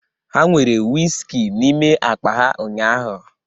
Ha nwere whiskey n'ime akpa ha ụnyahụ